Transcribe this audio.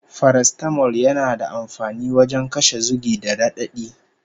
Farastamol yana da amfani wajen kashe zugi da raɗaɗi